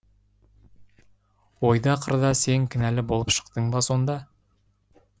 ойда қырда сен кінәлі болып шықтың ба сонда